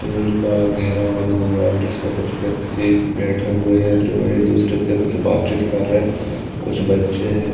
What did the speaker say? तेल का घेरा बना हुआ है जिसपे कुछ व्यक्ति बैठे हुए हैं जो एक दूसरे से कुछ बातचीत कर रहे कुछ बच्चे हैं।